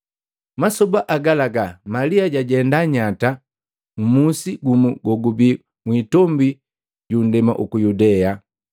Masoba agalaga Malia jwajenda nyata mmusi gumu gogubi mwitombi yu nndema uku Yudea.